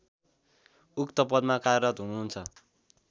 उक्त पदमा कार्यरत हुनुहुन्छ